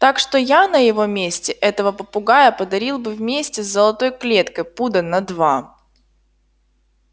так что я на его месте этого попугая подарил бы вместе с золотой клеткой пуда на два